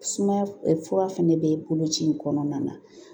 Sumaya fura fɛnɛ bɛ bolo ci in kɔnɔna na